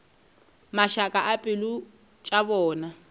mašaka a pelo tša bona